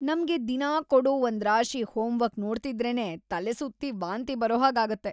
ನಮ್ಗೆ ದಿನಾ ಕೊಡೋ ಒಂದ್ರಾಶಿ ಹೋಮ್ವರ್ಕ್ ನೋಡ್ತಿದ್ರೇನೇ ತಲೆಸುತ್ತಿ ವಾಂತಿ ಬರೋ ಹಾಗಾಗತ್ತೆ.